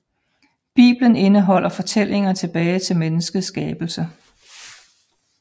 Bibelen indeholder fortællinger tilbage til menneskets skabelse